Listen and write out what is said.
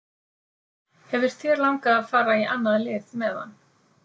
Hefur þér langað að fara í annað lið meðan?